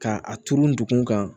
Ka a turu n dugun kan